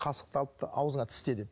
қасықты алыпты аузыңа тісте депті